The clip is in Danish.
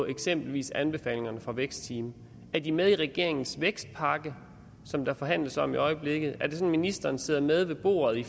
eksempelvis anbefalingerne fra vækstteamet er de med i regeringens vækstpakke som der forhandles om i øjeblikket er det sådan at ministeren sidder med ved bordet i